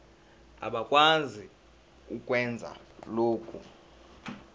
abakwazi ukwenza lokhu